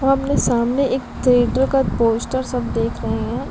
आमने-सामने एक थीअटर का पोस्टर सब देख रहे हैं।